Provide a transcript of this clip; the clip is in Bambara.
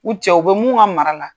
U cɛw, u be mun ka mara la.